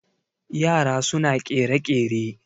yara suna kere-kere